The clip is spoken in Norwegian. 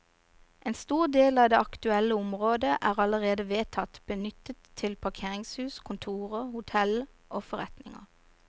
En stor del av det aktuelle området er allerede vedtatt benyttet til parkeringshus, kontorer, hotell og forretninger.